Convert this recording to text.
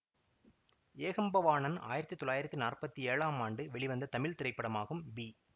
ஏகம்பவாணன் ஆயிரத்தி தொள்ளாயிரத்தி நாற்பத்தி ஏழாம் ஆண்டு வெளிவந்த தமிழ் திரைப்படமாகும் பி